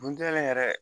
Duntaa yɛrɛ